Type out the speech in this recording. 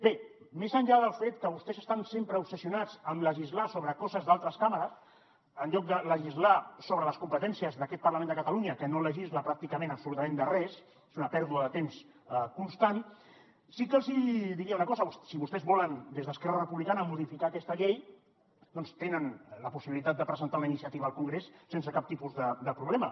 bé més enllà del fet que vostès estan sempre obsessionats amb legislar sobre coses d’altres càmeres en lloc de legislar sobre les competències d’aquest parlament de catalunya que no legisla pràcticament absolutament res és una pèrdua de temps constant sí que els hi diria una cosa si vostès volen des d’esquerra republicana modificar aquesta llei doncs tenen la possibilitat de presentar una iniciativa al congrés sense cap tipus de problema